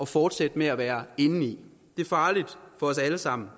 fortsætte med at være inde i det er farligt for os alle sammen